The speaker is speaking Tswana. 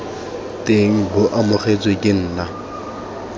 teng bo amogetswe ke nna